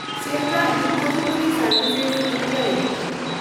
central depository ᱥᱮᱱᱰᱵᱷᱤᱥ (India) limited